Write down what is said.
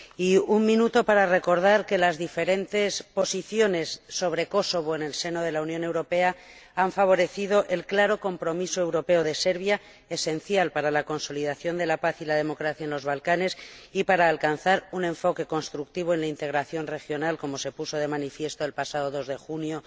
Y un minuto para recordar que las diferentes posiciones sobre Kosovo en el seno de la Unión Europea han favorecido el claro compromiso europeo de Serbia, esencial para la consolidación de la paz y la democracia en los Balcanes y para alcanzar un enfoque constructivo en la integración regional, como se puso de manifiesto el pasado 2 de junio